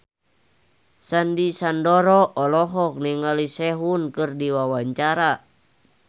Sandy Sandoro olohok ningali Sehun keur diwawancara